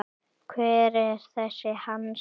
Hver er þessi Hans?